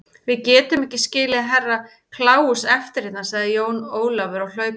Við getum ekki skilið Herra Kláus eftir hérna, sagði Jón Ólafur á hlaupunum.